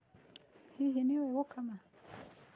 Hihi nĩ ũĩ gũkama?